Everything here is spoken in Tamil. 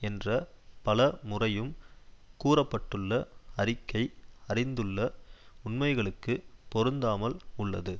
என்ற பல முறையும் கூற பட்டுள்ள அறிக்கை அறிந்துள்ள உண்மைகளுக்கு பொருந்தாமல் உள்ளது